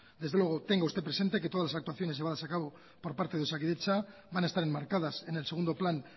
desde luego tenga usted presente que todas las actuaciones llevadas a cabo por parte de osakidetza van a estar enmarcadas en el segundo plan